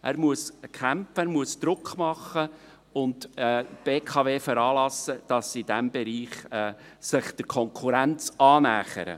Er muss kämpfen, muss Druck machen und die BKW veranlassen, dass sie sich in diesem Bereich der Konkurrenz annähert.